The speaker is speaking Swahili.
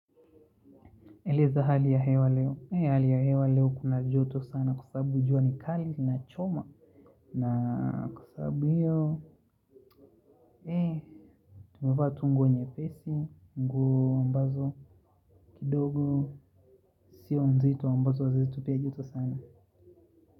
Eleza hali ya hewa leo. Hali ya hewa leo kuna joto sana kwa sababu jua ni kali linachoma. Na kwa sababu hiyo, hee, tumevaa tu nguo nyepesi, nguo ambazo kidogo. Sio mzito ambazo zinatupea joto sana.